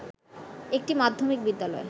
একটি মাধ্যমিক বিদ্যালয়